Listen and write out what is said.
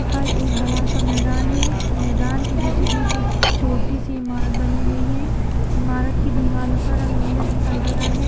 यहाँ पर एक बड़ा सा मैदान है मैदान के बीचों-बीच एक छोटी सी इमारत बनी हुई है इमारत की दीवालों का रंग नीला दिखाई दे रहा है।